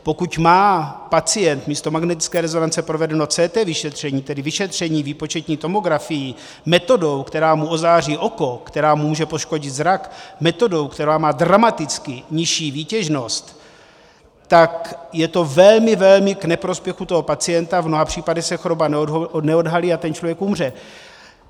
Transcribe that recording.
Pokud má pacient místo magnetické rezonance provedeno CT vyšetření, tedy vyšetření výpočetní tomografií, metodou, která mu ozáří oko, která mu může poškodit zrak, metodou, která má dramaticky nižší výtěžnost, tak je to velmi, velmi k neprospěchu toho pacienta, v mnoha případech se choroba neodhalí, a ten člověk umře.